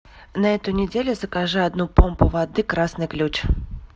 на эту неделю закажи одну помпу воды красный ключ